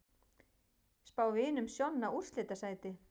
Spá Vinum Sjonna úrslitasæti